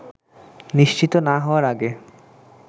নিশ্চিত না হওয়ার আগে